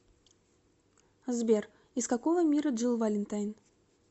сбер из какого мира джилл валентайн